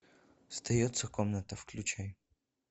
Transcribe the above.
сдается комната включай